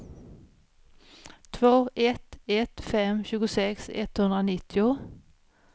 två ett ett fem tjugosex etthundranittio